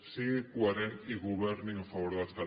sigui coherent i governi en favor dels catalans